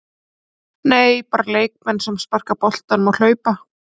Nei, Bara leikmenn sem sparka boltanum og hlaupa?